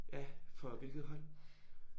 Ja for hvilket hold?